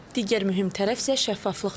Digər mühüm tərəf isə şəffaflıqdır.